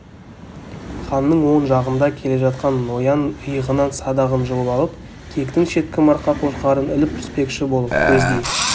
ханның оң жағында келе жатқан ноян иығынан садағын жұлып алып киіктің шеткі марқа қошқарын іліп түспекші болып көздей